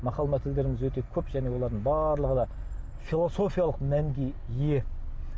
мақал мәтелдеріміз өте көп және олардың барлығы да философиялық мәнге ие